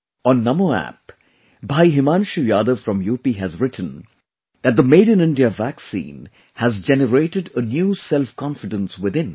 On NamoApp, Bhai Himanshu Yadav from UP has written that the Made in India vaccine has generated a new self confidence within